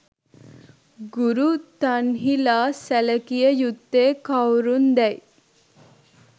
ගුරු තන්හි ලා සැලකිය යුත්තේ කවුරුන් දැයි